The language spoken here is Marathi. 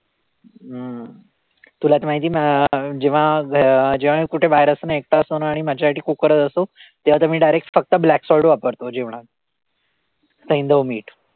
हम्म तुला तर माहितीये म अं जेव्हा जेव्हा मी कुठे बाहेर असतो ना, एकटा असतो ना आणि माझ्यासाठी cook करत असतो, तेव्हा तर मी direct फक्त black salt वापरतो जेवणात. सैंधव मीठ.